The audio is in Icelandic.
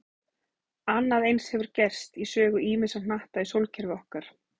Annað eins hefur gerst í sögu ýmissa hnatta í sólkerfi okkar.